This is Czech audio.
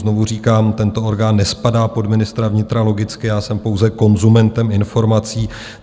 Znovu říkám, tento orgán nespadá pod ministra vnitra, logicky, já jsem pouze konzumentem informací.